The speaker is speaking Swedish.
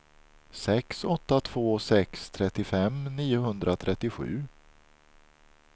sex åtta två sex trettiofem niohundratrettiosju